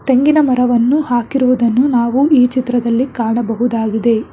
ತೆಂಗಿನ ಮರವನ್ನು ಹಾಕಿರುವುದನ್ನು ನಾವು ಈ ಚಿತ್ರದಲ್ಲಿ ಕಾಣಬಹುದಾಗಿದೆ.